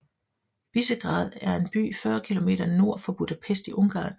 Visegrád er en by 40 km nord for Budapest i Ungarn